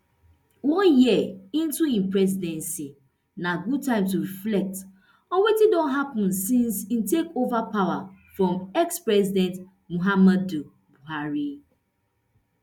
one year into im presidency na good time to reflect on wetin don happun since im take ova power from ex-president muhammadu buhari